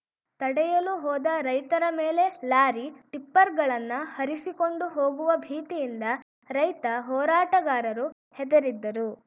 ತಡೆಯಲು ಹೋದ ರೈತರ ಮೇಲೆ ಲಾರಿ ಟಿಪ್ಪರ್‌ಗಳನ್ನ ಹರಿಸಿಕೊಂಡು ಹೋಗುವ ಭೀತಿಯಿಂದ ರೈತ ಹೋರಾಟಗಾರರು ಹೆದರಿದ್ದರು